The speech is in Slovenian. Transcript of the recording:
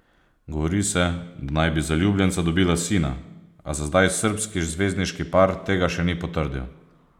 Govori se, da naj bi zaljubljenca dobila sina, a za zdaj srbski zvezdniški par tega še ni potrdil.